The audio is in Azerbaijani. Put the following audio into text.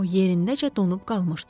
O yerindəcə donub qalmışdı.